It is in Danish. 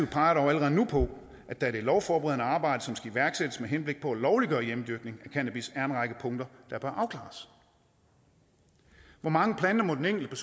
peger dog allerede nu på at der i det lovforberedende arbejde som skal iværksættes med henblik på at lovliggøre hjemmedyrkning af cannabis er en række punkter der bør afklares hvor mange planter må den enkelte